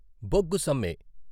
బొగ్గు సమ్మె